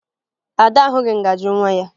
Ada ahụghị ngaji nwa ya